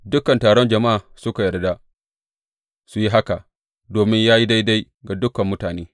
Dukan taron jama’a suka yarda su yi haka, domin ya yi daidai ga dukan mutane.